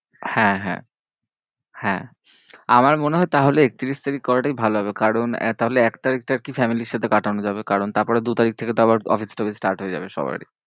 হ্যাঁ হ্যাঁ, হ্যাঁ আমার মনে হয় তাহলে একত্রিশ তারিখ করাটাই ভালো হবে। কারণ তাহলে এক তারিখটা একটু family র সাথে কাটানো যাবে। কারণ তারপরে দু তারিখ থেকে আবার অফিস টফিস start হয়ে যাবে সবারই।